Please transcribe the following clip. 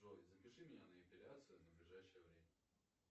джой запиши меня на эпиляцию на ближайшее время